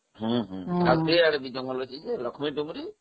ହଁ ହଁଆଉ ଯୋଉଆଡେ ଜଙ୍ଗଲ ଅଛି, ସେ ଲକ୍ଷ୍ମୀ ଡୁବୁରି